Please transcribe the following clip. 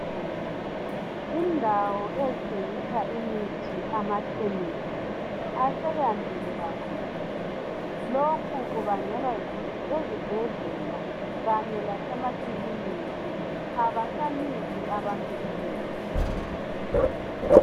Indawo ezithengisa imithi amakhemesi aseyandile kakhulu lokhu kubangelwa yikuthi ezibhedlela kanye lasemakiliniki abasaniki abantu imithi.